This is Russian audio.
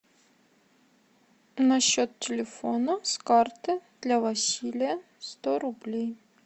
на счет телефона с карты для василия сто рублей